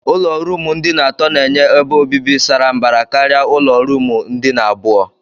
Ụlọ ruumu ndina atọ na-enye ebe obibi sara mbara karịa ụlọ ruumu ndina abụọ.